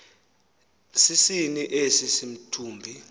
sinin esi simthubi